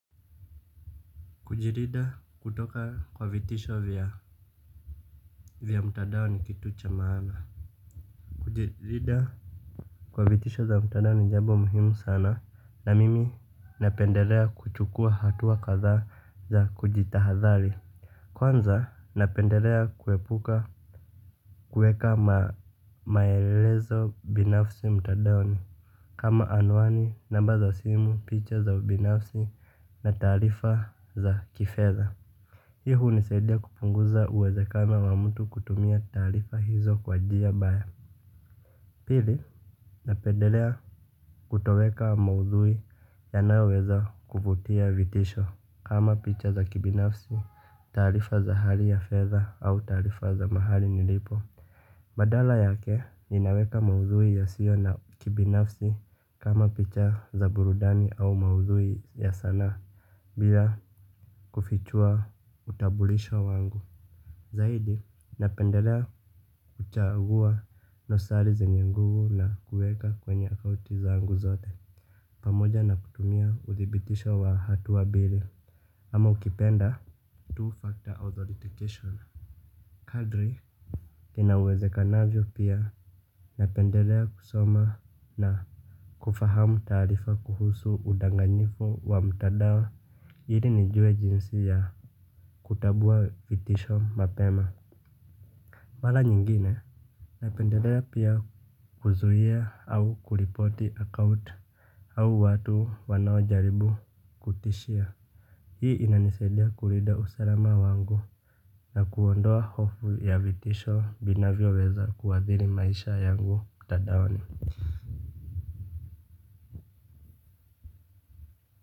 Kujilinda kutoka kwa vitisho vya mtadaoni ni kitu cha maana. Kujilinda kwa vitisho za mtadaoni jambo muhimu sana na mimi napendelea kuchukua hatua kadhaa za kujitahadhali. Kwanza napendelea kuepuka kuweka maelezo binafsi mtandaoni. Kama anuani namba za simu picha za binafsi na tarifa za kifedha. Hii hunisaidia kupunguza uwezakano wa mtu kutumia taarifa hizo kwa njia mbaya. Pili, napendelea kutoweka maudhui yanaweza kuvutia vitisho kama picha za kibinafsi, taarifa za hali ya fedha au taarifa za mahali nilipo. Badala yake ninaweka maudhui yasiyo ya kibinafsi kama picha za burudani au maudhui ya sanaa bila kufichua utambulisho wangu. Zaidi, napendelea kuchaguwa dosari zenye nguvu na kuweka kwenye akaunti zangu zote. Pamoja na kutumia uthibitisho wa hatua mbili ama ukipenda Two-factor authorization. Kadri, inawezekanavyo pia napendelea kusoma na kufahamu taarifa kuhusu udanganyifu wa mtandaoni ili nijue jinsi ya kutambua vitisho mapema. Mara nyingine napendelea pia kuzuia au kuripoti akaunt au watu wanaojaribu kutishia. Hii inanisaidia kulinda usalama wangu na kuondoa hofu ya vitisho vinavyoweza kuathiri maisha yangu mtandaoni.